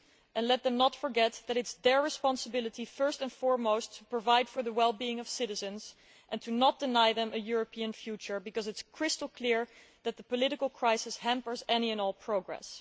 And let them not forget that it is their responsibility, first and foremost, to provide for the wellbeing of citizens and not to deny them a European future, because it is crystal clear that the political crisis hampers any and all progress.